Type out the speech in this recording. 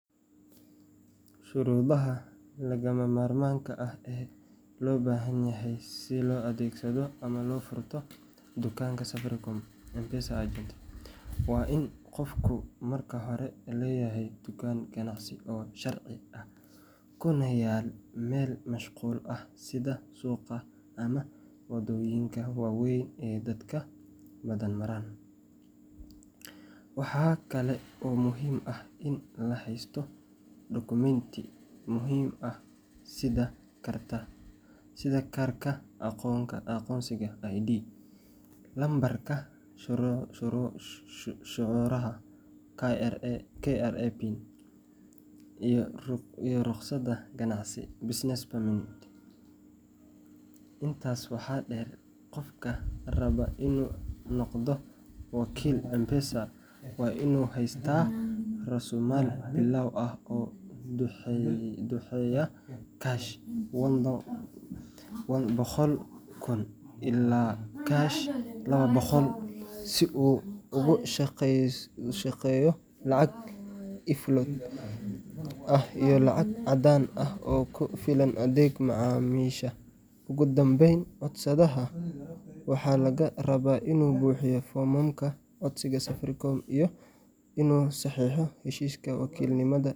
Shuruudaha lagama maarmaanka ah ee loo baahan yahay si loo adeegsado ama loo furto dukaan Safaricom M-Pesa agent waa in qofku marka hore leeyahay dukaan ganacsi oo sharci ah kuna yaal meel mashquul ah sida suuqa ama waddooyinka waa weyn ee dadka badan maraan. Waxaa kale oo muhiim ah in la haysto dukumeenti muhim ah sida kaarka aqoonsiga ID, lambarka canshuuraha KRA PIN, iyo rukhsadda ganacsiga Business Permit. Intaas waxaa dheer, qofka raba inuu noqdo wakiil M-Pesa waa inuu haystaa raasumaal bilow ah oo u dhexeeya shilin boqol kun ilaa shilin labo boqol kun si uu ugu shaqeeyo lacag e-floatka ah iyo lacag caddaan ah oo ku filan adeega macaamiisha. Ugu dambeyn, codsadaha waxaa laga rabaa inuu buuxiyo foomamka codsiga Safaricom iyo inuu saxiixo heshiiska wakiilnimada.